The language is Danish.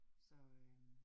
Så øh